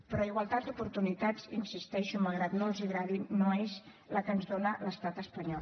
però igualtat d’oportunitats hi insisteixo malgrat que no els agradi no és el que ens dona l’estat espanyol